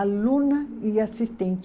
Aluna e assistente.